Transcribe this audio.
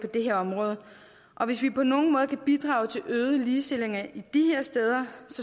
det her område og hvis vi på nogen måde kan bidrage til øget ligestilling de her steder